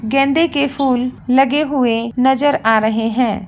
गेंदे के फूल लगे हुए नजर आ रहे है।